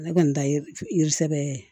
Ne kɔni ta ye yiri sɛbɛ ye